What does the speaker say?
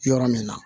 Yɔrɔ min na